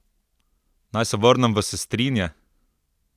Naj se vrnem v Sestrinje?